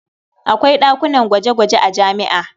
Akwai ɗakunan gwaje-gwaje a jami'a.